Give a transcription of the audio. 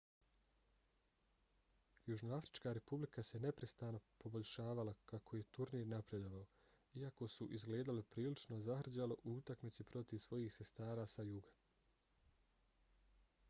južnoafrička republika se neprestano poboljšavala kako je turnir napredovao iako su izgledali prilično zahrđalo u utakmici protiv svojih sestara sa juga